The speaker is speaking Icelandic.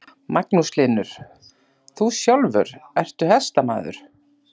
Magnús Hlynur: Þú sjálfur, ertu hestamaður?